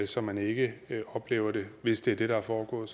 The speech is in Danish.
så man ikke oplever det hvis det er det der er foregået